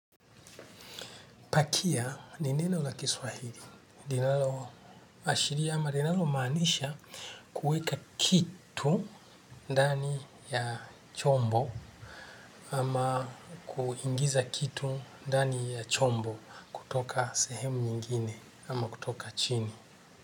Pakia ni neno la Kiswahili. Linalo ashiria linalo maanisha kuweka kitu ndani ya chombo ama kuingiza kitu ndani ya chombo kutoka sehemu nyingine ama kutoka chini.